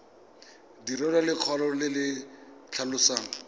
direlwa lekwalo le le tlhalosang